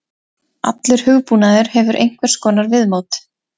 Allur hugbúnaður hefur einhvers konar viðmót.